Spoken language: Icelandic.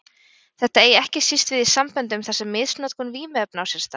Þetta eigi ekki síst við í samböndum þar sem misnotkun vímuefna á sér stað.